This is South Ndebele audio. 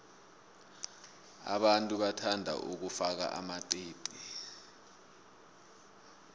abantu bathanda ukufaka amaqiqi